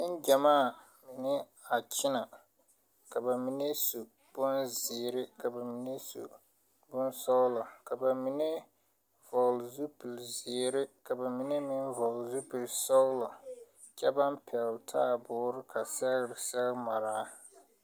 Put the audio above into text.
Neŋgyammaa mine a kyinɛ ka ba mine su bonzeere ka mine su bonsɔglɔ ka ba mine vɔgle zupilzeere ka ba mine meŋ vɔgle zupilsɔglɔ kyɛ baŋ pɛgle taaboore ka sɛgre sɛge maraa.